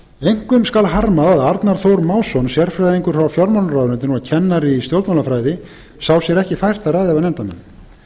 einkum skal harmað að arnar þór másson sérfræðingur hjá fjármálaráðuneytinu og kennari í stjórnmálafræði sá sér ekki fært að ræða við nefndarmenn